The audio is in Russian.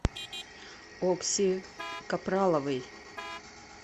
окси капраловой